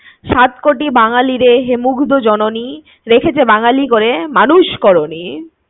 সাত কোটি বাঙ্গালীর হে মুগ্ধ জননী রেখেছো বাঙালি করে মানুষ করোনি